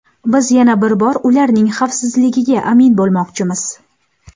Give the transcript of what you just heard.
Biz yana bir bor ularning xavfsizligiga amin bo‘lmoqchimiz.